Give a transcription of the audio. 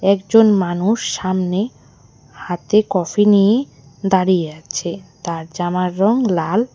একজন মানুষ সামনে হাতে কফি নিয়ে দাঁড়িয়ে আছে তার জামার রং লাল।